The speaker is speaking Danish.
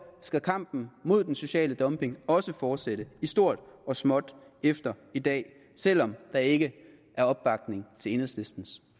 skal kampen mod den sociale dumping også fortsætte i stort og småt efter i dag selv om der ikke er opbakning til enhedslistens